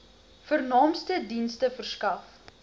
vernaamste dienste verskaf